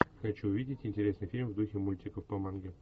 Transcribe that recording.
хочу увидеть интересный фильм в духе мультиков по манге